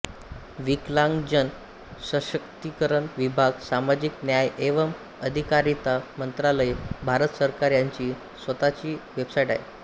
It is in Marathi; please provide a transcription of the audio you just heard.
विकलांगजन सशक्तिकरण विभाग सामाजिक न्याय एवं अधिकारिता मंत्रालय भारत सरकार यांची स्वताची वेबसाईट आहे